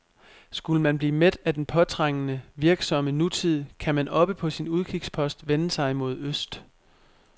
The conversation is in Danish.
Skulle man blive mæt af den påtrængende, virksomme nutid, kan man oppe på sin udkigspost vende sig mod øst.